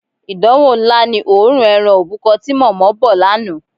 Ìdánwò ńlá ni òórùn e̩ran òbúko̩ ti mò̩mó̩ bò̩ lánàá.